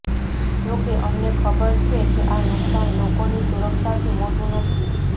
જોકે અમને ખબર છે કે આ નુકસાન લોકોની સુરક્ષાથી મોટું નથી